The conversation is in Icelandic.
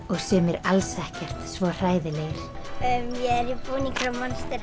og sumir alls ekkert svo hræðilegir ég er